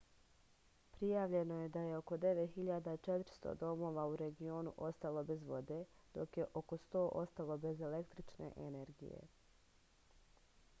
prijavljeno je da je oko 9400 domova u regionu ostalo bez vode dok je oko 100 ostalo bez električne energije